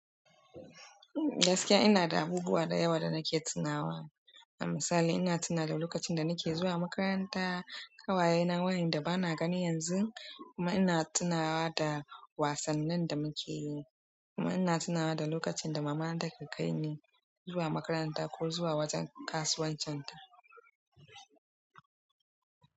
Gaskiya ina da abubuwa da yawa da nake tunawa. A misali ina tuna da lokacin da nike zuwa makaranta, ƙawayena wayanda bana gani yanzu kuma ina tunawa da wasannin da muke yi. Kuma ina tunawa da lokacin da mamana take kai ni zuwa makaranta ko zuwa wajen kasuwancin ta.